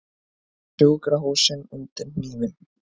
Sjúkrahúsin undir hnífinn